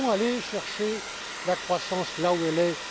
Nous devons aller chercher la croissance là où elle est.